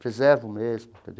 Preservo mesmo.